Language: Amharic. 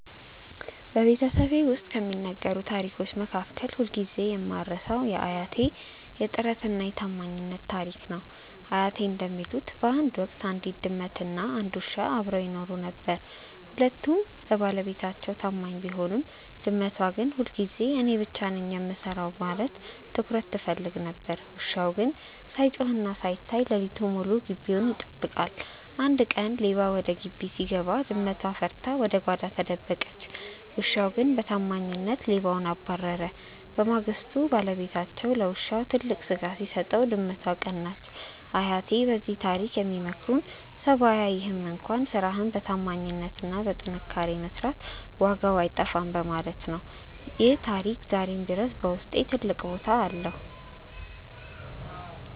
በቤተሰቤ ውስጥ ከሚነገሩ ታሪኮች መካከል ሁልጊዜ የማልረሳው የአያቴ "የጥረትና የታማኝነት" ታሪክ ነው። አያቴ እንደሚሉት፣ በአንድ ወቅት አንዲት ድመትና አንድ ውሻ አብረው ይኖሩ ነበር። ሁለቱም ለባለቤታቸው ታማኝ ቢሆኑም፣ ድመቷ ግን ሁልጊዜ እኔ ብቻ ነኝ የምሰራው በማለት ትኩረት ትፈልግ ነበር። ውሻው ግን ሳይጮህና ሳይታይ ሌሊቱን ሙሉ ግቢውን ይጠብቃል። አንድ ቀን ሌባ ወደ ግቢው ሲገባ፣ ድመቷ ፈርታ ወደ ጓዳ ተደበቀች። ውሻው ግን በታማኝነት ሌባውን አባረረ። በማግስቱ ባለቤታቸው ለውሻው ትልቅ ስጋ ሲሰጠው፣ ድመቷ ቀናች። አያቴ በዚህ ታሪክ የሚመክሩን ሰው ባያይህም እንኳን ስራህን በታማኝነትና በጥንካሬ መስራት ዋጋው አይጠፋም በማለት ነው። ይህ ታሪክ ዛሬም ድረስ በውስጤ ትልቅ ቦታ አለው።